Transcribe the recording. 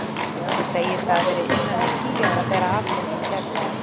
Hún segist hafa verið innan við tíu ára þegar atburðurinn gerðist.